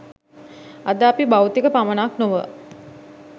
අද අපි භෞතික පමණක් නොව